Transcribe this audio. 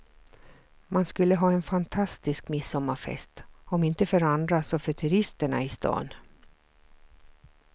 Man skulle ha en fantastisk midsommarfest, om inte för andra så för turisterna i stan.